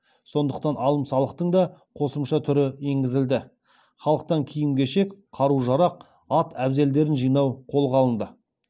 сондықтан алым салықтың да қосымша түрі енгізілді халықтан киім кешек қару жарақ ат әбзелдерін жинау қолға алынды